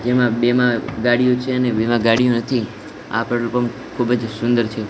જેમા બે માં ગાડીયો છે ને બે માં ગાડીયો નથી આ પેટ્રોલ પંપ ખૂબજ સુંદર છે.